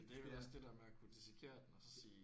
Det er vel også det der med at kunne dissekere den og så sige